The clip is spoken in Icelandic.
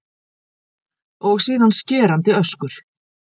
Og síðan skerandi öskur.